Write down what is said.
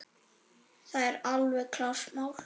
Það er alveg klárt mál.